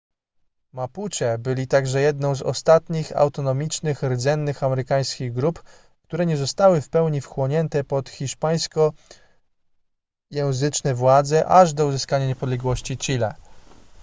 mapuche byli także jedną z ostatnich autonomicznych rdzennych amerykańskich grup które nie zostały w pełni wchłonięte pod hiszpańskojęzyczne władze aż do uzyskania niepodległości chile